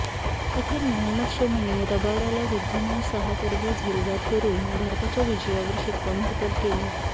अखेर मोहम्मद शमीने रबाडाला वृद्धीमान साहा करवी झेलबाद करून भारताच्या विजयावर शिक्कामोर्तब केले